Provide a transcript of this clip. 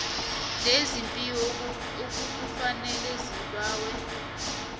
lezepilo akukafaneli zibawe